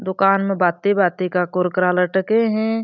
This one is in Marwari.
दुकान में भाँति भाँति का कुरकुरा लटके है।